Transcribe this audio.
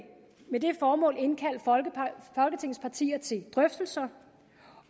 med det formål indkalde folketingets partier til drøftelser